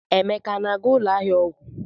Emeka a na-aga ụlọ ahịa ọgwụ?